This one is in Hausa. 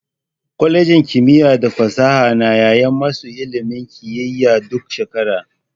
Kwalejin kimiyya da fasaha na yaye masu ilimin kiyiya duk shekara.